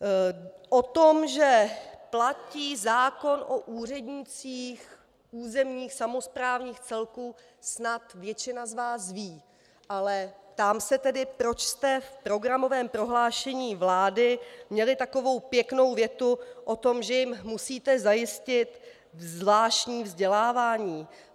O tom, že platí zákon o úřednících územních samosprávných celků, snad většina z vás ví, ale ptám se tedy, proč jste v programovém prohlášení vlády měli takovou pěknou větu o tom, že jim musíte zajistit zvláštní vzdělávání.